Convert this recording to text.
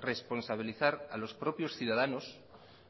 responsabilizar a los propios ciudadanos